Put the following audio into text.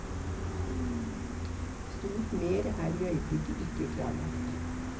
Stort mer er i øyeblikket ikke klarlagt.